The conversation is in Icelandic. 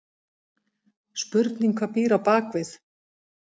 Spurning hvað býr á bakvið?!